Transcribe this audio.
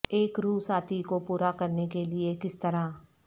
ایک روح ساتھی کو پورا کرنے کے لئے کس طرح